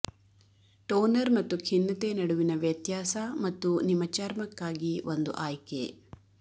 toner ಮತ್ತು ಖಿನ್ನತೆ ನಡುವಿನ ವ್ಯತ್ಯಾಸ ಮತ್ತು ನಿಮ್ಮ ಚರ್ಮಕ್ಕಾಗಿ ಒಂದು ಆಯ್ಕೆ